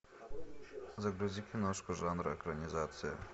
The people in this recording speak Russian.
загрузи киношку жанра экранизация